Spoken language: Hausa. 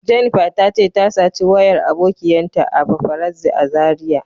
Jennifer ta ce ta saci wayar abokiyan ta a paparazzi a Zaria.